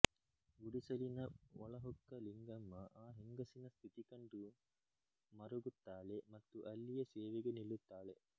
ಗುಡಿಸಲಿನ ಒಳಹೊಕ್ಕ ಲಿಂಗಮ್ಮ ಆ ಹೆಂಗಸಿನ ಸ್ಥಿತಿ ಕಂಡು ಮರುಗುತ್ತಾಳೆ ಮತ್ತು ಅಲ್ಲಿಯೇ ಸೇವೆಗೆ ನಿಲ್ಲುತ್ತಾಳೆ